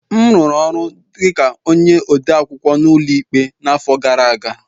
M rụrụ ọrụ dị ka onye odeakwụkwọ n'ụlọ ikpe n'afọ gara aga